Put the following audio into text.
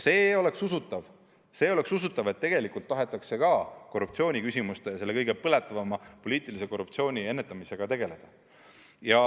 Siis oleks usutav, et ka tegelikult tahetakse korruptsiooniküsimustega, selle kõige põletavama poliitilise korruptsiooni ennetamisega tegeleda.